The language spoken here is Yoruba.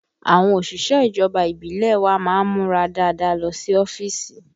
Àwọn òṣìṣẹ́ ìjọba ìbílẹ̀ wa má ń múra dáadáa lọ sí ọ́fíìsì